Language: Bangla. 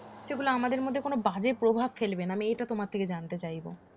সেগুলো আমাদের মধ্যে কোনও বাজে প্রভাব ফেলবে না আমি এটা তোমার থেকে জানতে চাইব